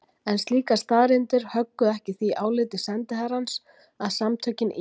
Yfirleitt er hægt að sjá af samhengi hvora skilgreininguna menn nota hverju sinni.